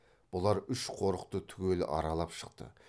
бұлар үш қорықты түгел аралап шықты